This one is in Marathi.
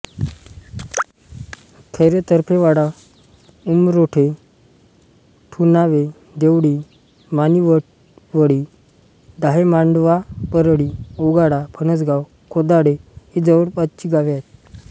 खैरेतर्फेवाडा उमरोठे ठुणावे देवळी माणिवळी दाहे मांडवा परळी ओगाडा फणसगाव खोदाडे ही जवळपासची गावे आहेत